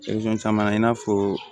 caman na i n'a fɔ